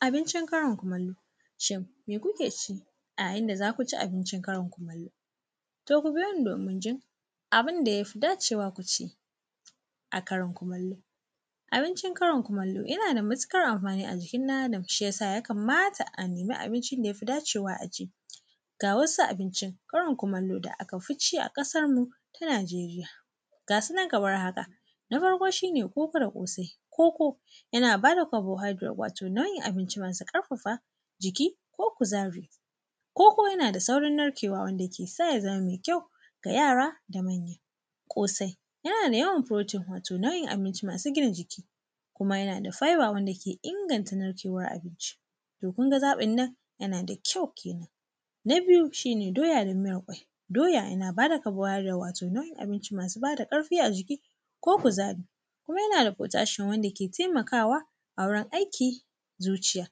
Abincin karin kumallo. Shin me kuke ci a yayin da za ku ci abincin karin kumallo? To ku biyo ni domin jin abin da ya fi dacewa ku ci a karin kumallo. Abincin karin kumallo yana da matuƙar amfani a jikin ɗan Adam, shi ya sa ya kamata a nemi abincin da ya fi dacewa a ci. Ga wasu abincin karin kumallo da aka fi ci a ƙasamu ta Nigeria, ga su nan kamar haka: na farko shine koko da ƙosai, koko yana ba da carbohydrate, wato nau’in abinci masu ƙarfafa jiki ko kuzari. Koko yana da saurin narkewa, wanda ke sa ya zama mai kyau ga yara da manya. Ƙosai yana da yawan protein, wato nau’in abinci masu gina jiki kuma yana da fibre wanda ke inganta narkewar abinci. To kun ga zaɓin nan, yana da kyau kenan. Na biyu shi ne doya da miyar ƙwai. Doya na ba da carbohydrate, wato nau’in abinci mai masu ba da ƙarfi a jiki ko kuzari. Kuma yana da potassium wanda ke taimakawa a wurin aiki, zuciya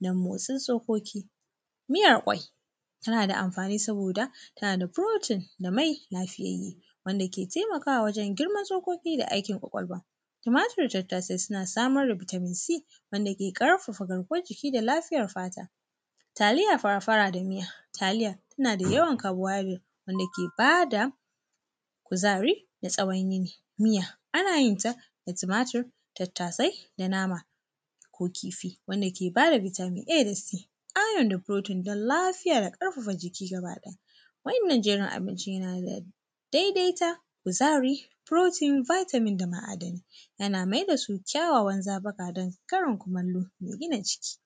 da motsin tsokoki. Miyar ƙwai, tana da amfani saboda tana da protein da mai lafiyayye, wanda ke taimakawa wajen girman tsokoki da aikin ƙwaƙwalwa. Tumatur da tattsai suna samar da vitamin C wanda ke ƙarfafa garkuwar jiki da lafiyar fata. Taliya fara da miya, taliya tana da yawan carbohydrate wanda ke ba da kuzari na tsawon yini. Miya, ana yin ta da tumatur tattasai da nama ko kifi, wanda ke ba da vitamin A da C. Ƙarin protein da lafiya da ƙarfafa jiki gaba ɗaya, wannan jerin abincin yana da daidaita kuzari, protein, vitamin da ma’adani, yana mai da su kyawawan zaɓuka don karin kumallo mai gina jiki.